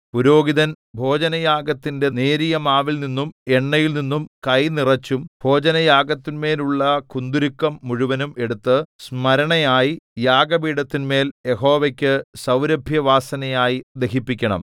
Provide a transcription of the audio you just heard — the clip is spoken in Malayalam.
പുരോഹിതൻ ഭോജനയാഗത്തിന്റെ നേരിയ മാവിൽനിന്നും എണ്ണയിൽനിന്നും കൈനിറച്ചും ഭോജനയാഗത്തിന്മേലുള്ള കുന്തുരുക്കം മുഴുവനും എടുത്ത് സ്മരണയായി യാഗപീഠത്തിന്മേൽ യഹോവയ്ക്കു സൗരഭ്യവാസനയായി ദഹിപ്പിക്കണം